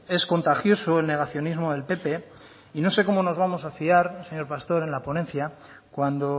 es contagioso el negacionismo del pp y no sé cómo nos vamos a fiar señor pastor en la ponencia cuando